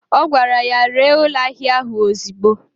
O gwara ya, ree ụlọ ahịa ạhụ ozigbo!